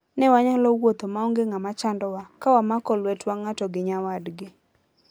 Ne wanyalo wuotho maonge ng'ama chandowa, ka wamako lwetwa ng'ato gi nyawadgi.